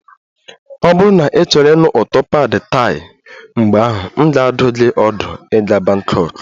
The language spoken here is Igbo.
Ọ bụrụ na ịchọrọ ịnụ ụtọ pad Thai, mgbe ahụ, m ga-adụ gị ọdụ ịga Bangkok